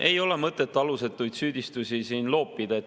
Ei ole mõtet alusetuid süüdistusi siin loopida.